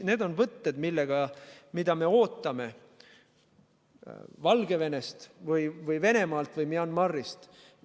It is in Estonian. Need on võtted, mida me ootame Valgevenelt või Venemaalt või Myanmarilt.